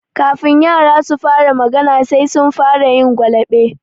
Kafin yara su fara magana, sai sun fara yin gwalaɓe.